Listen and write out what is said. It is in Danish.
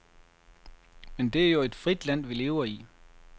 Men det er jo et frit land vi lever i.